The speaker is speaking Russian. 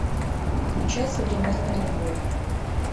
включай современная любовь